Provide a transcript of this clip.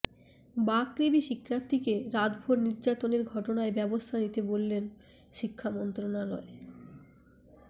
বাকৃবি শিক্ষার্থীকে রাতভর নির্যাতনের ঘটনায় ব্যবস্থা নিতে বলল শিক্ষা মন্ত্রণালয়